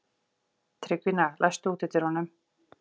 Tryggvína, læstu útidyrunum.